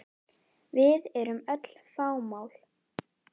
Við erum öll fámál.